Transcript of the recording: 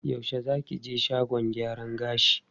Yaushe za ki je shagon gyaran gashin?